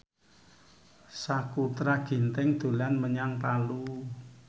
Sakutra Ginting dolan menyang Palu